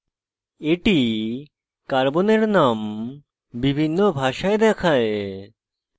এটি carbon name বিভিন্ন ভাষায় দেখায়